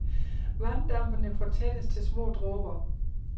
Vanddampene fortættes til små dråber.